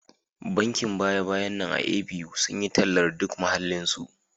Bankin baya-bayan nan a A.B.U sun yi tallar duk muhallinsu